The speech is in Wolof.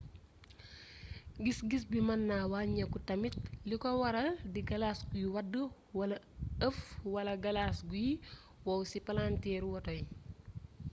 gis gis bi mën na wàññeeku tamit li ko waral di galas guy wadd wala ëff wala galas guy wow ci palanteeru woto yi